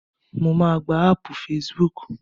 Mo máà gba áàpù facebook.